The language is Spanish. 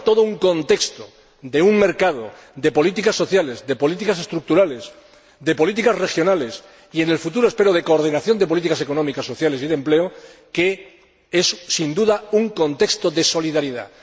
Pero hay todo un contexto de un mercado, de políticas sociales, de políticas estructurales, de políticas regionales y, en el futuro, espero, de coordinación de políticas económicas, sociales y de empleo, que es, sin duda, un contexto de solidaridad.